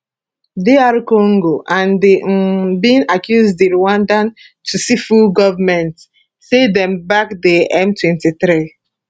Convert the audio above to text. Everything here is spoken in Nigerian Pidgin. dr congo and di un bin accuse di rwanda tutsi full goment say dem back di m23